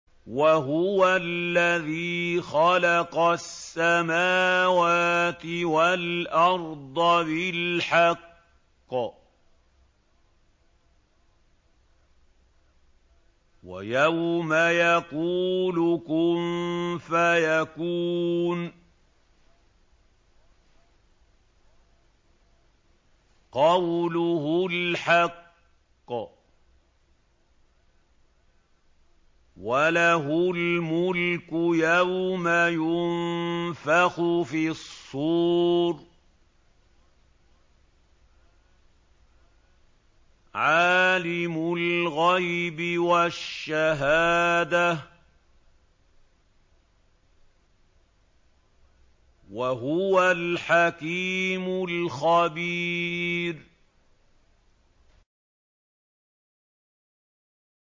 وَهُوَ الَّذِي خَلَقَ السَّمَاوَاتِ وَالْأَرْضَ بِالْحَقِّ ۖ وَيَوْمَ يَقُولُ كُن فَيَكُونُ ۚ قَوْلُهُ الْحَقُّ ۚ وَلَهُ الْمُلْكُ يَوْمَ يُنفَخُ فِي الصُّورِ ۚ عَالِمُ الْغَيْبِ وَالشَّهَادَةِ ۚ وَهُوَ الْحَكِيمُ الْخَبِيرُ